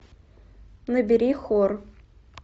набери хор